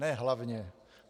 Ne hlavně.